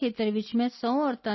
ਹਾਂ 100 ਮਹਿਲਾਵਾਂ ਯਾ 100 ਵੂਮਨ